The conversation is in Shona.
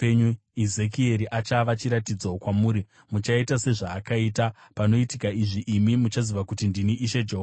Ezekieri achava chiratidzo kwamuri; muchaita sezvaakaita. Panoitika izvi, imi muchaziva kuti ndini Ishe Jehovha.’